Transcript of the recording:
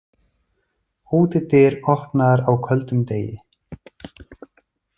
Útidyr opnaðar á köldum degi.